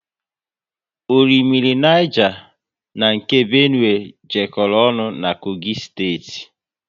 Orimmiri Niger na nke Benue jekoro ọnụ na Kogi steeti